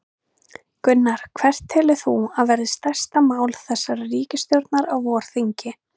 Gunnar: Hvert telur þú að verði stærsta mál þessarar ríkisstjórnar á vorþingi?